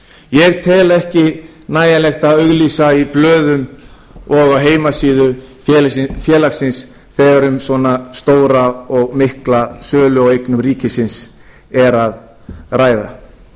ég tel ekki nægjanlegt að auglýsa í blöðum og á heimasíðu félagsins þegar um svona stóra og mikla sölu á eignum ríkisins er að ræða